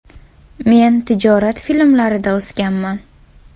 Men tijorat filmlarida o‘sganman.